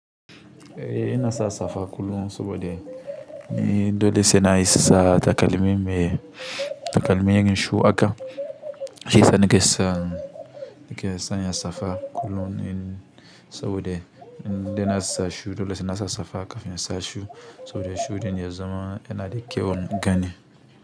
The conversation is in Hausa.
Ehh ina sa safa kullum saboda ni dole sai na sa takalmi me takalmi irin shoe aka. Shi sa nake sa nake sa na safa kullum saboda ni de nasa shoe dole sai nasa safa kafin ya sa shoe saboda shoe ɗin ya zama yana da kyau gani.